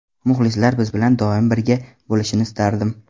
Muxlislar biz bilan doim birga bo‘lishini istardim.